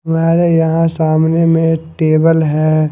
हमारे यहां सामने में टेबल है।